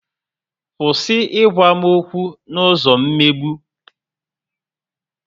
Kwụsị ị gwa m okwu n'ụzọ mmegbu!